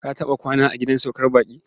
Ka taɓa kwana a gidan saukar baƙi?